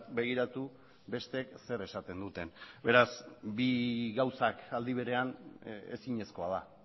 begiratu besteek zer esaten duten beraz bi gauzak aldi berean ezinezkoa da